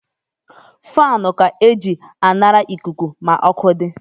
Fani ka e ji anara ikuku ma ọkụ di